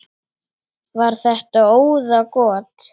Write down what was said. Var þetta óðagot?